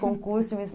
Concurso de Miss